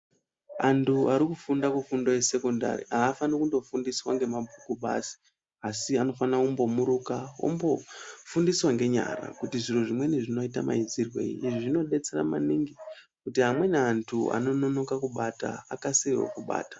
Antu arikufunda mufundo yesekondari haafanire kundofundiswa ngemabhuku badzi asi anofanira kumbomiruka kufundiswa ngenyara kuti zviro zvimweni zvinomboitwa maizirwei kuti amweni antu vanonoka ubata vakasirewo kubata.